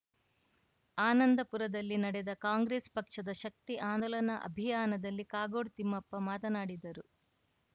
ಆನಂದಪುರದಲ್ಲಿ ನಡೆದ ಕಾಂಗ್ರೆಸ್‌ ಪಕ್ಷದ ಶಕ್ತಿ ಆಂದೋಲನ ಅಭಿಯಾನದಲ್ಲಿ ಕಾಗೋಡು ತಿಮ್ಮಪ್ಪ ಮಾತನಾಡಿದರು